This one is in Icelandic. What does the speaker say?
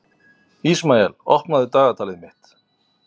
Ísmael, opnaðu dagatalið mitt.